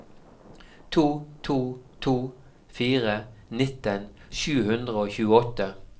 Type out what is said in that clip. to to to fire nitten sju hundre og tjueåtte